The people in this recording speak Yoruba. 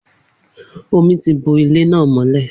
Omi ti bo ilé náà mọ́lẹ̀